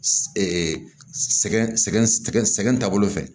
sɛgɛn sɛgɛn sɛgɛn sɛgɛn taabolo fɛ